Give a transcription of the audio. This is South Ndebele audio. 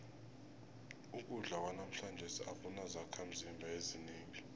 ukudla kwanamhlanje akunazakhimzimba ezinengi